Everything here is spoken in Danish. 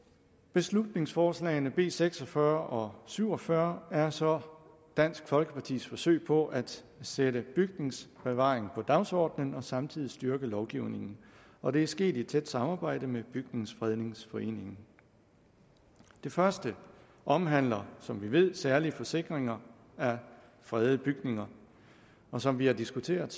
beslutningsforslagene b seks og fyrre og syv og fyrre er så dansk folkepartis forsøg på at sætte bygningsbevaring på dagsordenen og samtidig styrke lovgivningen og det er sket i et tæt samarbejde med bygnings frednings foreningen det første omhandler som vi ved særlig forsikringer af fredede bygninger og som vi har diskuteret